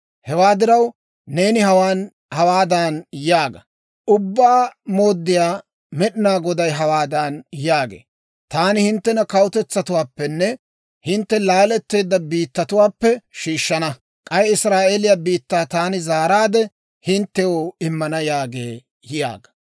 «Hewaa diraw, neeni hawaadan yaaga; ‹Ubbaa Mooddiyaa Med'inaa Goday hawaadan yaagee; «Taani hinttena kawutetsatuwaappenne hintte laaletteedda biittatuwaappe shiishshana; k'ay Israa'eeliyaa biittaa taani zaaraadde hinttew immana» yaagee› yaaga.